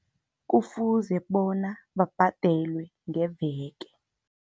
Kufuze bona, babhadelwe ngeveke.